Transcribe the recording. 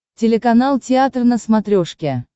телеканал театр на смотрешке